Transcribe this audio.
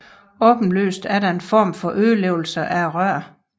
Åbenlyst er der en form for ødelæggelse af røret